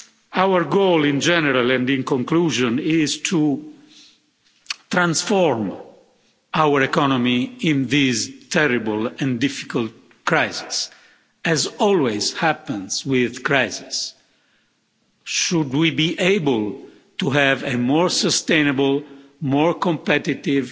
Our goal in general and in conclusion is to transform our economy in these terrible and difficult crisis, as always happens with crises. Should we be able to have a more sustainable, more competitive,